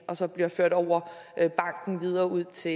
og som bliver ført over banken videre ud til